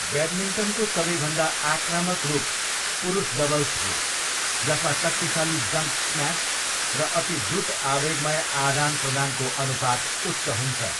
ब्याडमिन्टनको सबैभन्दा आक्रामक रूप पुरुष डबल्स हो, जसमा शक्तिशाली जम्प स्म्यास र अति द्रुत आवेगमय आदानप्रदानको अनुपात उच्च हुन्छ।